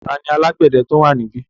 Tani alágbẹ̀dẹ tó wà níbí?